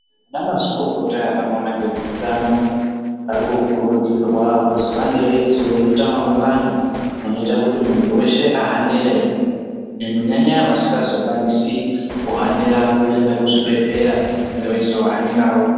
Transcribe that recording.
Anamazvikokota anoona ngezvezveutano ari kukurudzirwa kuzi vange veizota maungano anoita kuti munhu weshe ahanire, kunyanya-nyanya vasikazokwanisi, kuhanira kuenda kuzvibhedhlera, veizohanirawo.